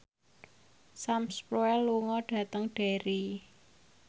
Sam Spruell lunga dhateng Derry